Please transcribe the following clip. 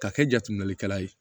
Ka kɛ jateminɛlikɛla ye